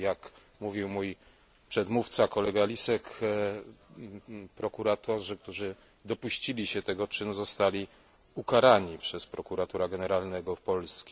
Jak mówił mój przedmówca poseł Lisek, prokuratorzy, którzy dopuścili się tego czynu zostali ukarani przez Prokuratora Generalnego Polski.